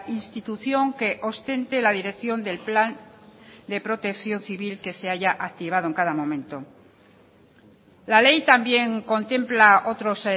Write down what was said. institución que ostente la dirección del plan de protección civil que se haya activado en cada momento la ley también contempla otros